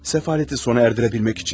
Səfaləti sona erdirə bilmək üçün.